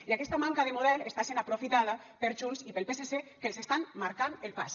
i aquesta manca de model està sent aprofitada per junts i pel psc que els estan marcant el pas